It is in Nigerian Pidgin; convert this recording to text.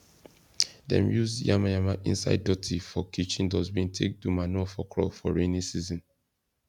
dem use yamayama inside dotty for kitchen dustbin take do manure for crop for rainy season